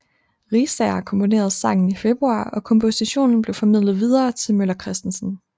Riisager komponerede sangen i februar og kompositionen blev formidlet videre til Møller Kristensen